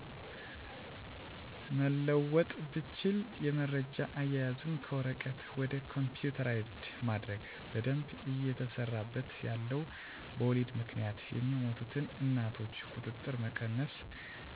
መለወጥ ብችል የመረጃ አያያዙን ከወረቀት ወደ ኮፒተራይዝድ ማድረግ። በደንብ እየተሰራበት ያለው በወሊድ ምክንያት የሚሞቱትን እናቶች ቁጥር መቀነስ ነው።